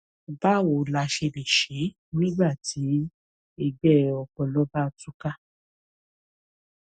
báwo la ṣe lè ṣe é nígbà tí ègbẹ ọpọlọ bá tú ká